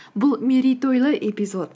бұл мерейтойлы эпизод